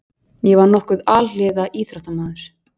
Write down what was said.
Ég var nokkuð alhliða íþróttamaður.